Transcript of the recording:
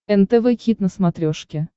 нтв хит на смотрешке